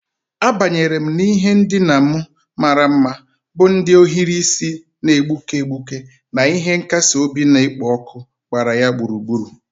Abanyere m n'ihe ndina m mara mma, bụ́ ndị ohiri isi na-egbuke egbuke na ihe nkasi obi na-ekpo ọkụ gbara ya gburugburu.